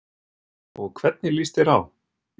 Og hvernig líst þér á?